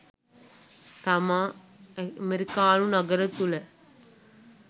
තමා අමෙරිකානු නගර තුළ